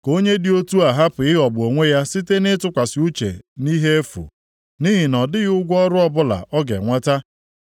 Ka onye dị otu a hapụ ịghọgbu onwe ya site nʼịtụkwasị uche nʼihe efu, nʼihi na ọ dịghị ụgwọ ọrụ ọbụla ọ ga-enweta.